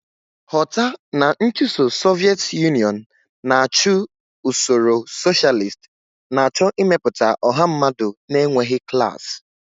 Ghọta na nchụso Soviet Union na-achụ usoro socialist, na-achọ ịmepụta ọha mmadụ na-enweghị klas.